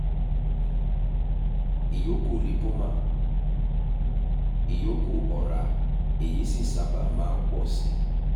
ìyókù lipoma - ìyókù ọrá èyí sì sábà máa ń pọ̀ sí i